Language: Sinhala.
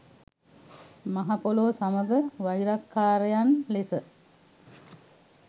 මහ පොළොව සමග වෛරක්කාරයන් ලෙස